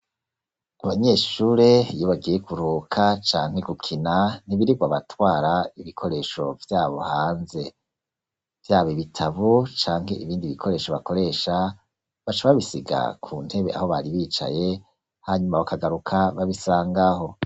Abanyeshure iyo bagiye kuruhuka canke gukina nibirigo batwara ibikoresho vyabo hanze vyab' ibitabu canke ibindi bikoresho bakoresha, baca babisiga ku ntebe aho bari bicaye hanyuma bakagaruka babisangaho.